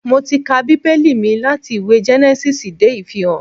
Mo ti ka Bíbẹ́lì mi láti ìwé Gẹ́nẹ́sísì dé Ìfihàn